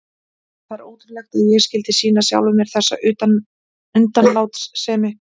Það er ótrúlegt að ég skyldi sýna sjálfum mér þessa undanlátssemi.